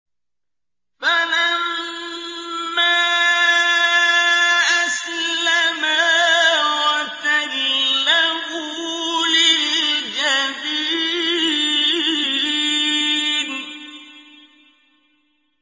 فَلَمَّا أَسْلَمَا وَتَلَّهُ لِلْجَبِينِ